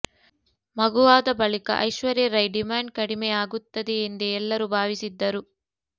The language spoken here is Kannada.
ಮಗುವಾದ ಬಳಿಕ ಐಶ್ವರ್ಯ ರೈ ಡಿಮ್ಯಾಂಡ್ ಕಡಿಮೆ ಆಗುತ್ತದೆ ಎಂದೇ ಎಲ್ಲರೂ ಭಾವಿಸಿದ್ದರು